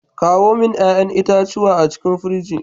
Kawo min ya'yan itacuwa a cikin pirji.